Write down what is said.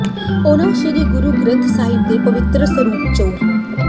ਉਨ੍ਹਾਂ ਸ੍ਰੀ ਗੁਰੂ ਗ੍ਰੰਥ ਸਾਹਿਬ ਦੇ ਪਵਿੱਤਰ ਸਰੂਪ ਚੋਰ